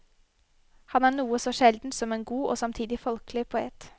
Han er noe så sjeldent som en god og samtidig folkelig poet.